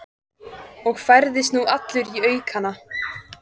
Og færðist nú allur í aukana.